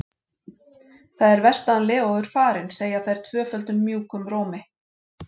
Það er verst að hann Leó er farinn, segja þær tvöföldum mjúkum rómi.